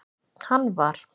hann var.